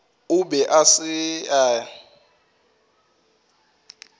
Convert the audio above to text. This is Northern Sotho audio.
o be a sa e